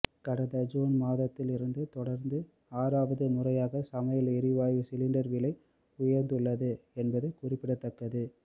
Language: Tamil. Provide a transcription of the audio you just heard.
கடந்த ஜூன் மாதத்திலிருந்து தொடர்ந்து ஆறாவது முறையாக சமையல் எரிவாயு சிலிண்டர் விலை உயர்ந்துள்ளது என்பது குறிப்பிடத்தக்கது